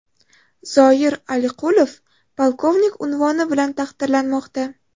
Zoir Aliqulov polkovnik unvoni bilan taqdirlanmoqda.